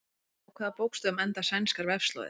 Á hvaða bókstöfum enda sænskar vefslóðir?